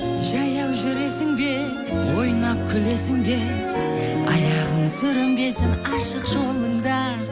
жаяу жүресің бе ойнап күлесің бе аяғың сүрінбесін ашық жолыңда